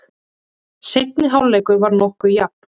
Seinni hálfleikur var nokkuð jafn.